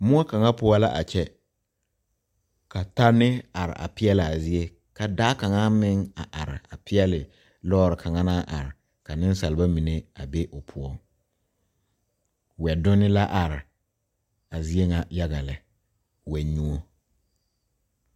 Moɔ kaŋa poɔ la a kyɛ ka tanne a are a peɛle a zie ka daa kaŋa meŋ a are peɛle lɔɔre kaŋa naŋ a are ka nensalba mine a be o poɔŋ wɛdonne la are a zie ŋa yaga lɛ wɛnyuo.